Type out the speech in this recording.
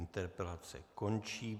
Interpelace končí.